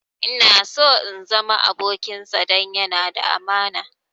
Ina so na zama abokinsa don yana da amana